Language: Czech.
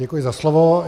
Děkuji za slovo.